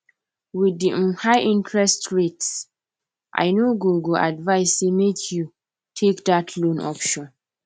with di um high interest rates i no go go advise say make you take that loan option